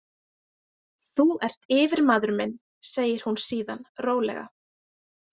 Þú ert yfirmaður minn, segir hún síðan rólega.